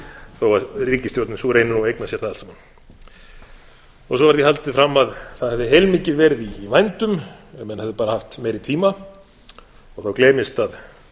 þó að ríkisstjórnin sú reyni nú að eigna sér það allt saman svo er því haldið fram að það hafi heilmikið verið í vændum ef menn hefðu bara haft meiri tíma og þá gleymist að